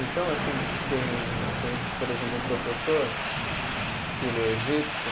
Então assim tem, tem, por exemplo, um professor, que ele é egípcio,